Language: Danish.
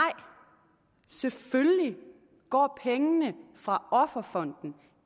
selvfølgelig går pengene fra offerfonden